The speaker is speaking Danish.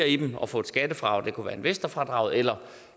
i dem og få et skattefradrag det kunne være investorfradraget eller